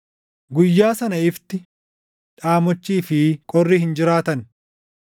Guyyaa sana ifni, dhaamochii fi qorri hin jiraatan.